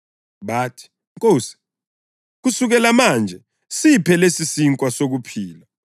Bathi, “Nkosi, kusukela manje siphe lesisinkwa sokuphila.”